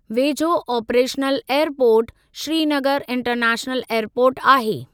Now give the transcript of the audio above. वेझो operational airport Srinagar international airport आहे।